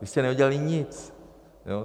Vy jste neudělali nic.